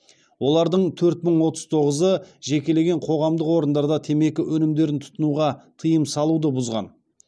олардың төрт мың отыз тоғызы жекелеген қоғамдық орындарда темекі өнімдерін тұтынуға тыйым салуды бұзған